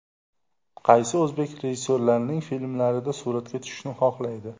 Qaysi o‘zbek rejissyorlarining filmlarida suratga tushishni xohlaydi?